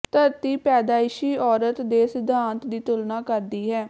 ਧਰਤੀ ਪੈਦਾਇਸ਼ੀ ਔਰਤ ਦੇ ਸਿਧਾਂਤ ਦੀ ਤੁਲਨਾ ਕਰਦੀ ਹੈ